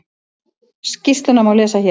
Skýrsluna má lesa hér